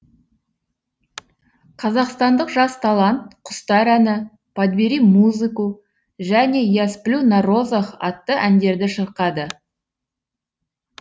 қазақстандық жас талант құстар әні подбери музыку және я сплю на розах атты әндерді шырқады